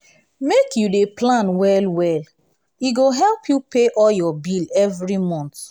make you dey plan well-well e go help you pay all your bill every month.